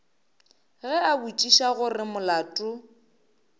ge a botšiša gore molato